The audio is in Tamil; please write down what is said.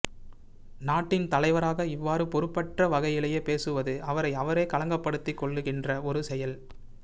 நாட்டின் தலைவராக இவ்வாறு பொறுப்பற்ற வகையிலே பேசுவது அவரை அவரே களங்கப்படுத்திக் கொள்ளுகின்ற ஒரு செயல்